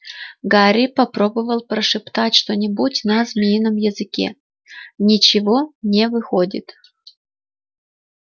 гарри попробовал прошептать что-нибудь на змеином языке ничего не выходит